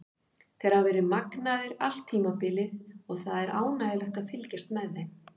Þeir hafa verið magnaðir allt tímabilið og það er ánægjulegt að fylgjast með þeim.